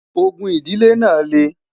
ògún idile nà le